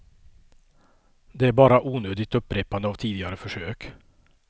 Det är bara onödigt upprepande av tidigare försök.